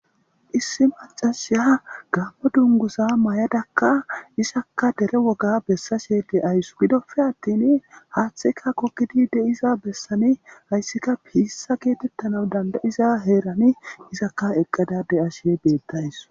Issi macasiya gamo duguza mayadakka izakka dere woga besashe de'eawus gidoppe attin hathaykka gogidi de'iza besan haysikka Pisa getetanaw dad'aiza herani izakka eqada de'eshe betawusu